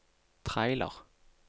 trailer